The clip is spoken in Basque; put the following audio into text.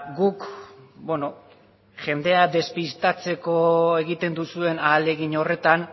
guk bueno jendea despistatzeko egiten duzuen ahalegin horretan